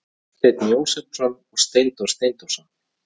Þorsteinn Jósepsson og Steindór Steindórsson.